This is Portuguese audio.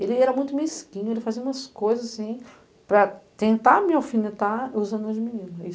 E ele era muito mesquinho, ele fazia umas coisas assim para tentar me alfinetar usando as meninas.